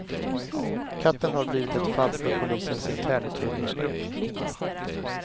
Katten har blivit ett fall för polisens internutredningsgrupp.